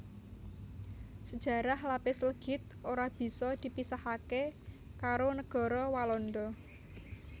Sejarah lapis legit ora bisa dipisahaké karo negara Walanda